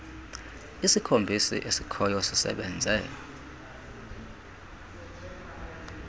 isikhombisi esikhoyo sisebenze